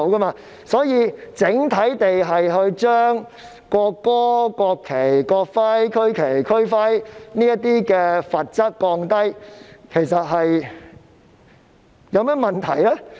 因此，將觸犯涉及國歌、國旗、國徽、區旗、區徽等法例的罰則整體減輕，又有何問題呢？